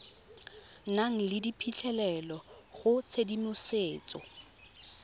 nang le phitlhelelo go tshedimosetso